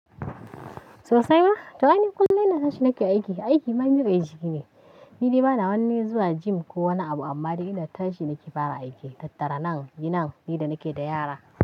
Sosai ma, to aini kullum ina tashi nake aiki. Aiki ma nibe ishe ni. Nidai bana wani zuwa gym kowani abu amma dai ina tashi nake fara aiki, tattara nan, yinan, ni da nake da yara.